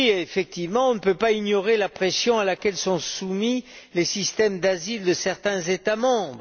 Effectivement, on ne peut pas ignorer la pression à laquelle sont soumis les systèmes d'asile de certains États membres.